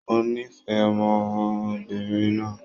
Mo nífẹ̀ẹ́ ọmọbìnrin náà